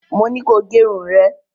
Mo ní ko gẹ irun rẹ̀.